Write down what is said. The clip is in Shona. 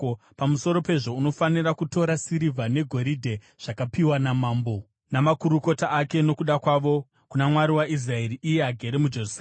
Pamusoro pezvo unofanira kutora sirivha negoridhe rakapiwa namambo namakurukota ake nokuda kwavo kuna Mwari waIsraeri, iye agere muJerusarema,